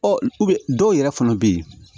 Ɔ dɔw yɛrɛ fana bɛ yen